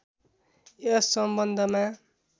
यस सम्बन्धमा